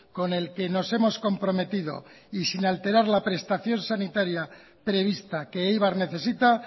con el que nos hemos comprometido y sin alterar la prestación sanitaria prevista que eibar necesita